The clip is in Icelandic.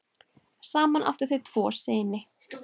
Saman áttu þau tvo syni.